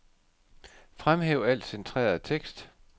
Fremhæv al centreret tekst.